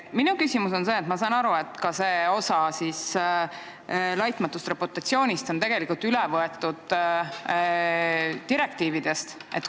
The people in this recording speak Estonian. Ma saan aru, et ka see laitmatu reputatsiooni osa on üle võetud direktiividest.